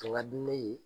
A ka di ne ye